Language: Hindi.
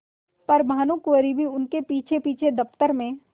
पर भानुकुँवरि भी उनके पीछेपीछे दफ्तर में